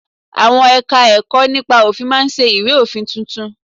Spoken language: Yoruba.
Àwọn Ẹ̀ka-ẹ̀kọ́ nípa òfin máa ṣe ìwé òfin tuntun